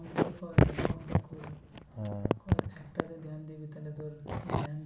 একটাতে দিবি তাহলে তোর